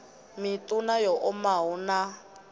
miṋu na yo omaho na